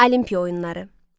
Olimpiya oyunları.